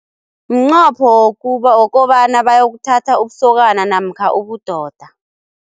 Mnqopho wokobana bayokuthatha ubusokana namkha ubudoda.